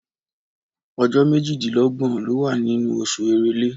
Ọjọ́ méjìdínlọ́gbọ̀ ló wà nínú oṣù Èrèlé.